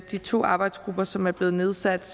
de to arbejdsgrupper som er blevet nedsat